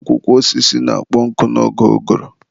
Akwụkwọ osisi na-akpọ nkụ n'oge ụgụrụ.